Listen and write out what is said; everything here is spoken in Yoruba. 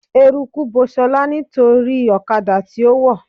Eruku bo ṣọlá nítorí ọ̀kadà tí ó wọ̀